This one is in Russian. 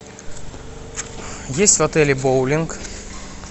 есть в отеле боулинг